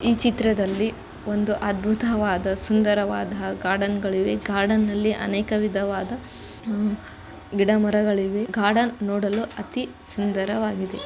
ಈ ಚಿತ್ರದಲ್ಲಿ ಒಂದು ಅದ್ಭುತವಾದ ಸುಂದರವಾದ ಗಾರ್ಡನ್ ಗಳಿವೆ ಗಾರ್ಡನ್ ನಲ್ಲಿ ಅನೇಕ ವಿಧದವಾದ ಗಿಡ ಮರಗಳಿವೆ. ಗಾರ್ಡನ್ ನೋಡಲು ಅತೀ ಸುಂದರವಾಗಿದೆ.